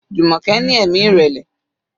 Jumoke ní ẹ̀mí ìrẹ̀lẹ̀.